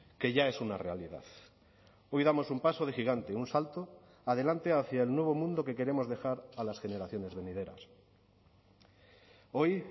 que ya es una realidad hoy damos un paso de gigante un salto adelante hacia el nuevo mundo que queremos dejar a las generaciones venideras hoy